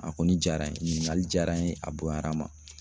A kɔni diyara n ye, ɲininkali diyara n ye a bonyara n ma.